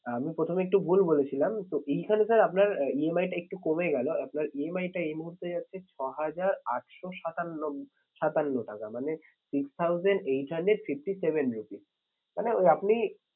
আঁ আমি প্রথমে একটু ভুল বলেছিলাম তো এইখানে sir আপনার EMI টা একটু কমে গেলো আপনার EMI টা এই মুহূর্তে যাচ্ছে ছহাজার আটশো সাতান্ন, সাতান্ন টাকা মানে six thousand eight hundred fifty seven rupees মানে ওই আপনি